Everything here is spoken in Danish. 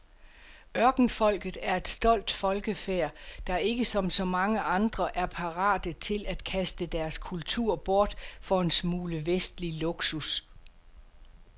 Ørkenfolket er et stolt folkefærd, der ikke som så mange andre er parate til at kaste deres kultur bort for en smule vestlig luksus.